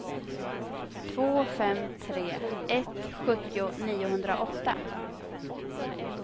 två fem tre ett sjuttio niohundraåtta